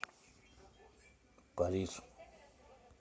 париж